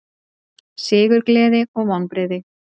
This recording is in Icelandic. Sigurgleði og vonbrigði